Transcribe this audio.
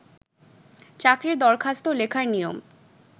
চাকরির দরখাস্ত লেখার নিয়ম